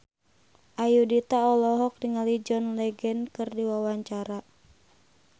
Ayudhita olohok ningali John Legend keur diwawancara